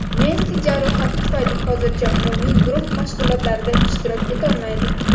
Messi jarohati tufayli hozircha umumiy guruh mashg‘ulotlarida ishtirok etolmaydi.